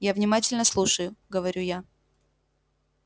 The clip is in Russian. я внимательно слушаю говорю я